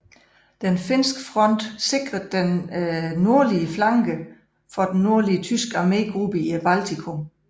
Den finske front sikrede den nordlige flanke for den nordlige tyske armegruppe i Baltikum